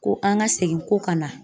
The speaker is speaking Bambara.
Ko an ka segin ko ka na